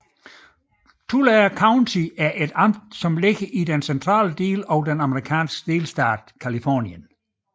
Tulare County er et amt beliggende i den centrale del af den amerikanske delstat Californien